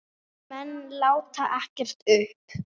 Þessir menn láti ekkert uppi.